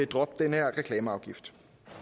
droppe den her reklameafgift